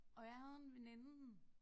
Og jeg havde en veninde